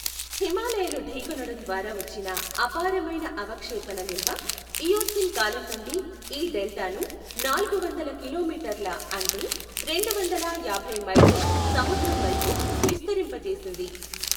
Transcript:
హిమాలయలు ఢీకొనడం ద్వారా వచ్చిన అపారమైన అవక్షేపణ నిల్వ ఇయోసీన్ కాలం నుండి ఈ డెల్టాను నాలుగు వందల కిలోమీటర్ల అంటే రెండు వందల యాభై మైళ్లు సముద్రంవైపు విస్తరింపజేసింది.